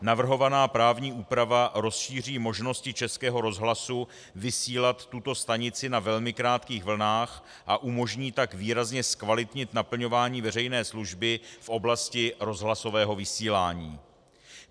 Navrhovaná právní úprava rozšíří možnosti Českého rozhlasu vysílat tuto stanici na velmi krátkých vlnách, a umožní tak výrazně zkvalitnit naplňování veřejné služby v oblasti rozhlasového vysílání.